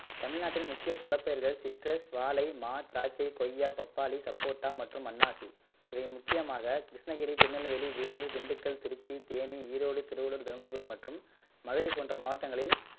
தமிழ்நாட்டின் முக்கிய பலப்பயிர்கள் சிட்ரஸ் வாழை மா திராட்சை கொய்யா பப்பாளி சப்போட்டா மற்றும் அன்னாசி இவை முக்கியமாக கிருஷ்ணகிரி திருநெல்வேலி வேலூர் திண்டுக்கல் திருச்சி தேனி ஈரோடு திருவள்ளுர் தருமபுரி மற்றும் மதுரை போன்ற மாவட்டங்களில்